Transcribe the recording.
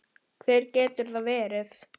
Hver getur það verið?